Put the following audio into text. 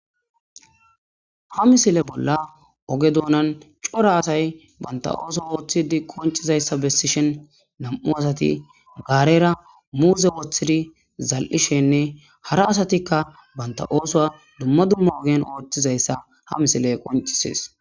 Ha misile bolla oge doonan cora asay banta ooso ooththidi qonchizayssa bessishen nam'u asati gaarera muuze woththidi zal'ishenne hara asatikka banta oosoa dumma dumma ogen ooththizayssa ha misile qoncisees.